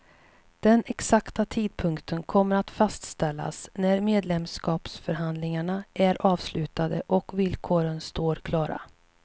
Den exakta tidpunkten kommer att fastställas när medlemskapsförhandlingarna är avslutade och villkoren står klara.